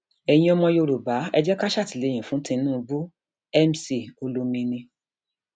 ẹyin ọmọ yorùbá ẹ jẹ ká ṣàtìlẹyìn fún tinubu mc olomini